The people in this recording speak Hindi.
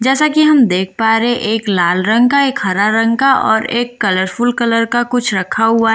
जैसा कि हम देख पा रहे एक लाल रंग का एक हरा रंग का और एक कलरफुल कलर का कुछ रखा हुआ--